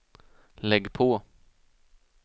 lägg på